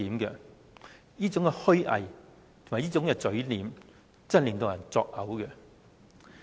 這種虛偽和嘴臉，真的令人作嘔。